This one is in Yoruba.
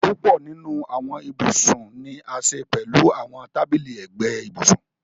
Púpọ̀ nínu awọn íbusun ni a ṣẹ pẹ̀lú àwọn tàbílí ẹgbẹ̀ íbusùn.